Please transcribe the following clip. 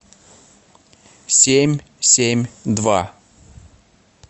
семь семь два